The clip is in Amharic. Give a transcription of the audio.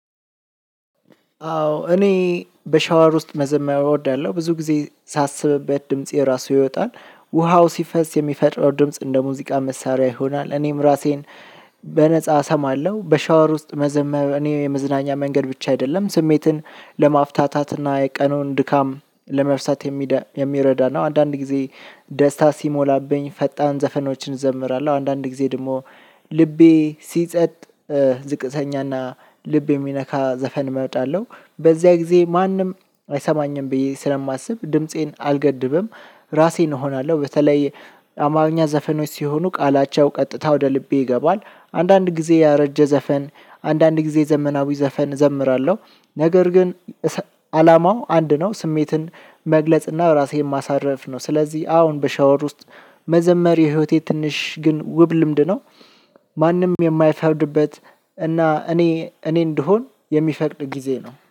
አዎ እኔ በሻወር ውስጥ መዘመር እወዳለሁ። ብዙ ጊዜ ሳስብ በድምጼ ራሱ ይወጣል። ውሃው ሲፈስ የሚፈጥረው ድምጽ እንደሙዚቃ መሳሪያ ይሆናል። እኔም እራሴን በነፃ እሰማለሁ። በሻወር ውስጥ መዘመር እኔ የመዝናኛ መንገድ ብቻ አይደለም። ስሜትን ለማፍታታትና የቀኑን ድካም ለመርሳት የሚረዳ ነው። አንዳንድ ጊዜ ደስታ ሲሞላብኝ ፈጣን ዘፈኖችን እዘምራለሁ። አንዳንድ ጊዜ ደግሞ ልቤ ሲጸጥ ዝቅተኛና ልብ የሚነካ ዘፈን እመጣለሁ። በዚያ ጊዜ ማንም አይሰማኝም ብዬ ስለማስብ ድምፄን አልገድብም። ራሴን እሆናለሁ። በተለይ አማርኛ ዘፈኖች ሲሆኑ ቃላቸው ቀጥታ ወደ ልቤ ይገባል። አንዳንድ ጊዜ ያረጀ ዘፈን፣ አንዳንድ ጊዜ ዘመናዊ ዘፈን እዘምራለሁ። ነገር ግን አላማው አንድ ነው ስሜትን መግለጽና ራሴን ማሳረፍ ነው። ስለዚህ አዎን በሻወር ውስጥ መዘመር የህይወቴ ትንሽ ግን ውብ ልምድ ነው። ማንም የማይፈርድበት እና እኔ እኔ እንድሆን የሚፈቅድ ጊዜ ነው።